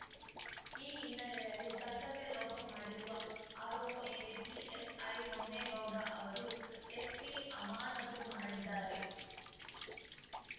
ಈ ಹಿನ್ನಲೆಯಲ್ಲಿ ಕರ್ತವ್ಯ ಲೋಪ ಮಾಡಿರುವ ಆರೋಪ ಮೇಲೆ ಪಿಎಸ್‌ಐ ಹೊನ್ನೇಗೌಡ ಅವರು ಎಸ್ಪಿ ಅಮಾನತು ಮಾಡಿದ್ದಾರೆ